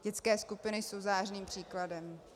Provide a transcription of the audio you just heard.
Dětské skupiny jsou zářným příkladem.